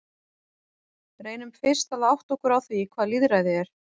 Reynum fyrst að átta okkur á því hvað lýðræði er.